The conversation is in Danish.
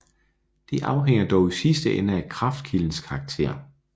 Det afhænger dog i sidste ende af kraftkildens karakter